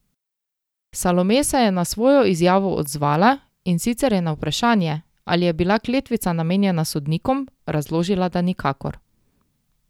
Salome se je na svojo izjavo odzvala, in sicer je na vprašanje, ali je bila kletvica namenjena sodnikom, razložila, da nikakor.